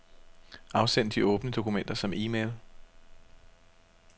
Afsend de åbne dokumenter som e-mail.